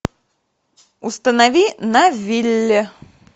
установи на вилле